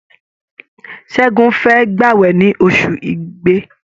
Ṣẹ́gun fẹ́ gbàwẹ̀ ní ọṣù Igbe.